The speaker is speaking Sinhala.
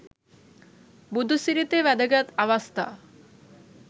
බුදු සිරිතේ වැදගත් අවස්ථා